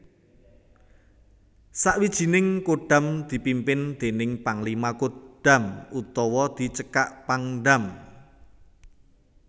Sawijining Kodam dipimpin déning Panglima Kodam utawa dicekak Pangdam